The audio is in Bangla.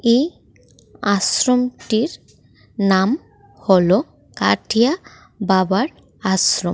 এই আশ্রমটির নাম হল কাঠিয়া বাবার আশ্রম।